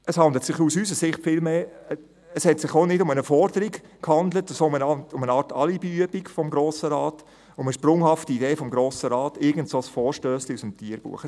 Es handelte sich aus unserer Sicht auch nicht um eine Forderung, sondern um eine Art Alibiübung des Grossen Rates, um eine sprunghafte Idee des Grossen Rates, um irgendein «Vorstössli» aus dem Tierbuch.